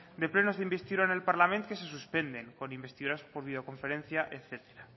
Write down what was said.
de plenos de investidura en el parlament que se suspenden por envestidura por videoconferencias etcétera